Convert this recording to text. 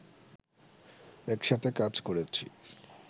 একসাথে কাজ করেছি